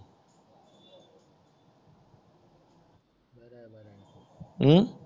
हम्म